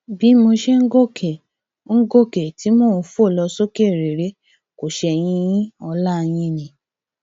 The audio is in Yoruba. bí mo ṣe ń gòkè ń gòkè tí mò ń fò lọ sókè réré kò ṣẹyìn yin ọlá yín ni